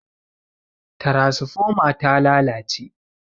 tarasifoma ta lalace